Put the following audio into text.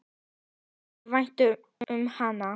Mér þótti vænt um hana.